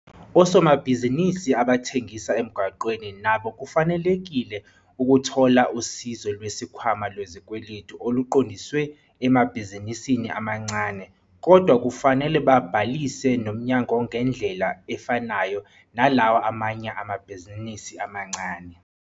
Osomabhizinisi abathengisa emgwaqeni nabo bafanelekile ukuthola Usizo Lwesikhwama Lwezikweletu oluqondiswe emabhizinisini amancane kodwa kufanele babhalise nomnyangongendlela efanayo nalawa amanye amabhizinisi amancane.